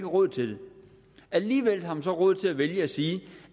råd til det alligevel har man så råd til at vælge at sige